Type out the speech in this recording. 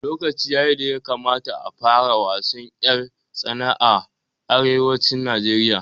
Lokaci yayi da ya kamata a fara wasan ƴar tsana a arewacin Najeriya